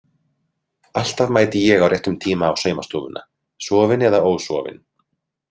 Alltaf mæti ég á réttum tíma á saumastofuna, sofin eða ósofin.